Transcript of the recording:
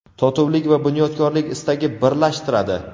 totuvlik va bunyodkorlik istagi birlashtiradi.